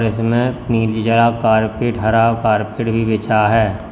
इसमें कारपेट हरा कारपेट भी बिछा है।